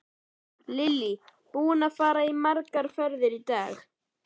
Lillý: Búinn að fara margar ferðir í dag?